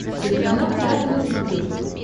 телеканал театр на смотрешке